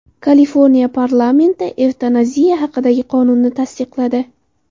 Kaliforniya parlamenti evtanaziya haqidagi qonunni tasdiqladi.